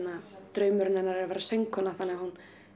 draumur hennar er að vera söngkona þannig að hún